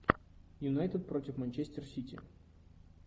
юнайтед против манчестер сити